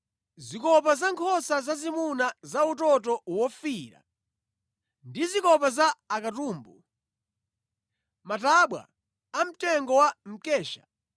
zikopa za nkhosa zazimuna za utoto wofiira ndi zikopa za akatumbu; matabwa amtengo wa mkesha,